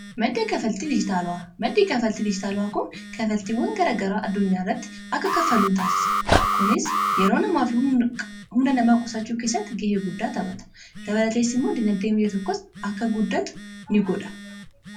maddii kafaltii dijitaala'aa kun kafaltiiwwan garagaraa addunyaa irratti akka kafaluu taasisa kunis yeroo namaa fi humna namaa qusachuu keessatti ga'ee guddaa taphata dabalateessi immoo dinagdee biyya tokkos akka guddatu in godha